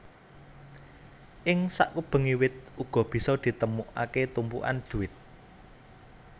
Ing sakubenge wit uga bisa ditemukake tumpukan duit